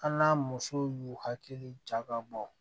An n'a musow y'u hakili jagabɔ